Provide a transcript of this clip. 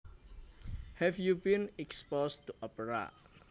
Have you been exposed to opera